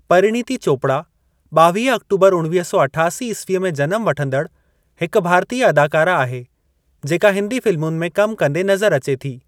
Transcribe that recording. परीणीती चोपड़ा, ॿावीह ऑक्टूबर उणवीह सौ अठासी ईस्वी में जनम वठंदड़ हिक भारतीय अदाकारा आहे जेका हिन्दी फ़िलमुनि में कमु कंदे नज़र अचे थी।